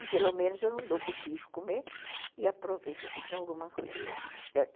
E pelo menos eu não dou para os bichos comerem e aproveito assim para alguma coisa, certo?